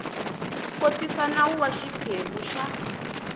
kotisa nawu wa xiphemu xa